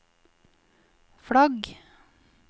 flagg